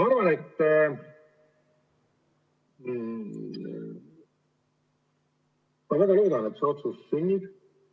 Ma väga loodan, et see otsus sünnib.